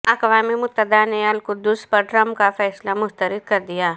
اقوام متحدہ نے القدس پر ٹرمپ کا فیصلہ مسترد کردیا